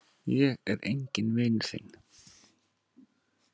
Ég er enginn vinur þinn!